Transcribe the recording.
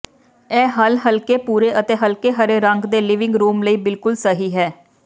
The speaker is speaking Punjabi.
ਇਹ ਹੱਲ ਹਲਕੇ ਭੂਰੇ ਅਤੇ ਹਲਕੇ ਹਰੇ ਰੰਗ ਦੇ ਲਿਵਿੰਗ ਰੂਮ ਲਈ ਬਿਲਕੁਲ ਸਹੀ ਹੈ